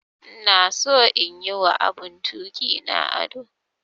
Ina son in yi wa abun tuki na ado.